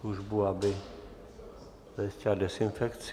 službu, aby zajistila dezinfekci.